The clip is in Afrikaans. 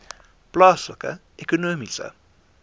plaaslike ekonomiese